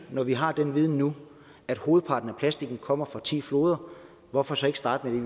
når vi har den viden nu at hovedparten af plastikken kommer fra ti floder hvorfor så ikke starte med